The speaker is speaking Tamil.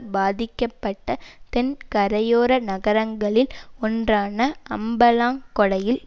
பாதிக்கப்பட்ட தென் கரையோர நகரங்களில் ஒன்றான அம்பலாங்கொடையில்